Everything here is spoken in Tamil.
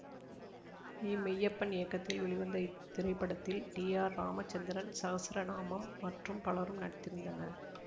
வி மெய்யப்பன் இயக்கத்தில் வெளிவந்த இத்திரைப்படத்தில் டி ஆர் ராமச்சந்திரன் சஹஸ்ரநாமம் மற்றும் பலரும் நடித்திருந்தனர்